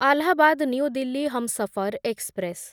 Allahabad new Delhi Humsafar express